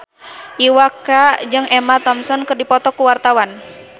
Iwa K jeung Emma Thompson keur dipoto ku wartawan